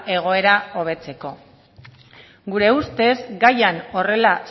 egoera hobetzeko gure ustez gaian horrela